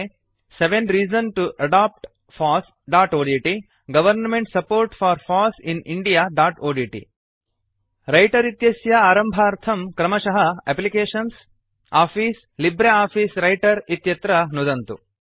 ते seven reasons to adopt fossओड्ट् government support for foss in indiaओड्ट् रैटर् इत्यस्य आरम्भार्थं क्रमशः एप्लिकेशन्स् आफिस लिब्रियोफिस व्रिटर इत्यत्र नुदन्तु